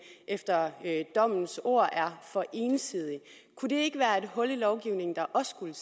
efter dommens ord er for ensidig kunne det ikke være et hul i lovgivningen der også skulle